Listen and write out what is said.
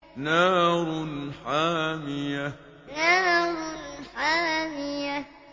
نَارٌ حَامِيَةٌ نَارٌ حَامِيَةٌ